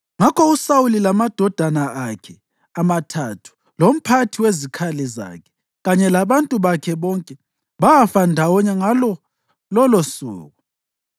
Ngakho uSawuli lamadodana akhe amathathu lomphathi wezikhali zakhe kanye labantu bakhe bonke bafa ndawonye ngalo lolosuku.